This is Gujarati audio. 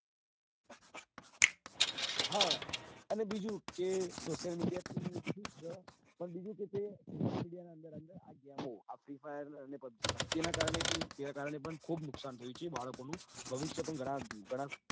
હા અને બીજું કે social media તો ઠીક છે પણ બીજું કે તે આ social media ના અંદર અંદર આ game ઓ આ free fire અને pubg તેના કારણે પણ ખુબ નુકસાન થયું છે બાળકો નું ભવિષ્ય પણ ઘણાં